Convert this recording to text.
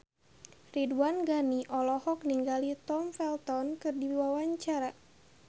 Ridwan Ghani olohok ningali Tom Felton keur diwawancara